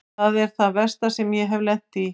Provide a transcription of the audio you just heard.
Þetta er það versta sem ég hef lent í.